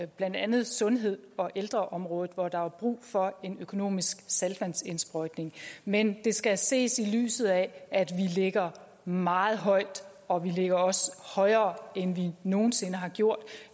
blandt andet sundheds og ældreområdet hvor der var brug for en økonomisk saltvandsindsprøjtning men det skal ses i lyset af at vi ligger meget højt og vi ligger også højere end vi nogen sinde har gjort